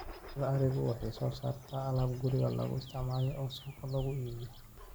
Dhaqashada arigu waxa ay soo saartaa alaab guriga lagu isticmaalo oo suuqa lagu iibiyo.